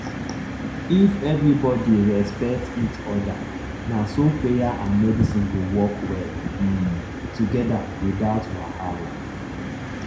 if everybody respect each other na so prayer and medicine go work well um together without wahala.